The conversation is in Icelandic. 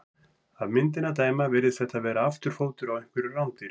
Af myndinni að dæma virðist þetta vera afturfótur á einhverju rándýri.